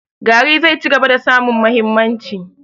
Gari zai cigaba da samun mahimmanci.